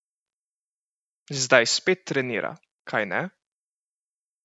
Zdaj spet trenira, kajne?